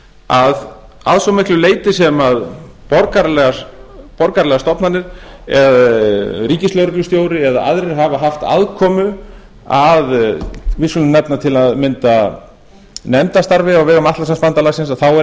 að að svo miklu leyti sem borgaralegar stofnanir ríkislögreglustjóri eða aðrir hafa haft aðkomu að við skulum nefna til að mynda nefndarstarfi á vegum atlantshafsbandalagsins er